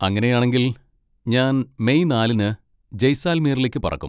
അങ്ങനെയാണെങ്കിൽ, ഞാൻ മെയ് നാലിന് ജയ്സാൽമീറിലേക്ക് പറക്കും.